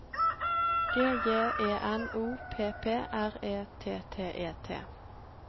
G J E N O P P R E T T E T